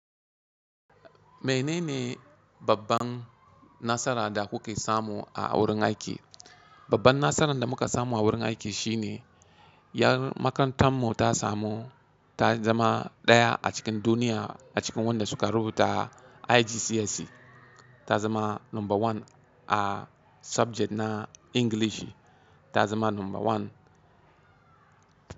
Menene babban nasara da kuke samu a wurin aiki? Babban nasaran da muka samu a wurin aiki shine yar makarantar mu ta samu, ta zama ɗaya a cikin duniya a cikin wanda suka rubuta IGCSE, ta zama number one a subject na English, ta zama number one.